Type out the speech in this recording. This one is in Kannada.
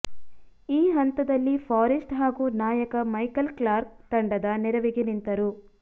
ಈ ಹಂತದಲ್ಲಿ ಫಾರೆಸ್ಟ್ ಹಾಗೂ ನಾಯಕ ಮೈಕಲ್ ಕ್ಲಾರ್ಕ್ ತಂಡದ ನೆರವಿಗೆ ನಿಂತರು